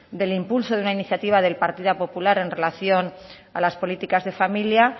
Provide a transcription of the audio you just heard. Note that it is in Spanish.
del impulso de una iniciativa del partido popular en relación a las políticas de familia